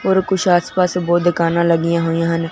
और कुछ आस पास बहोत